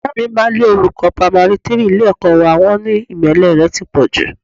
Ìyá mi máa lé olùkọ́ pamari three ilé-ẹ̀kọ́ wá, wọn ní ìmẹ́lẹ́ rẹ ti pọ̀ jù